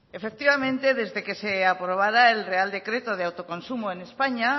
efectivamente desde que se aprobará el real decreto de autoconsumo en españa